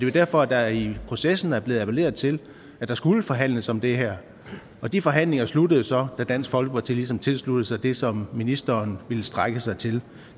jo derfor at der i processen er blevet appelleret til at der skulle forhandles om det her og de forhandlinger sluttede så da dansk folkeparti ligesom tilsluttede sig det som ministeren ville strække sig til